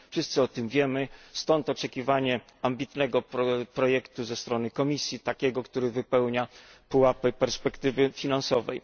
Wszyscy o tym wiemy, stąd oczekiwanie ambitnego projektu ze strony Komisji, takiego, który wypełnia pułapy perspektywy finansowej.